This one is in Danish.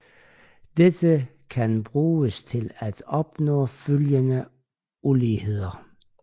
Dette kan bruges til at opnå følgende ulighed